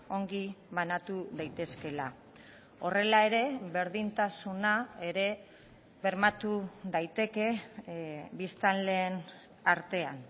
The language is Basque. ongi banatu daitezkeela horrela ere berdintasuna ere bermatu daiteke biztanleen artean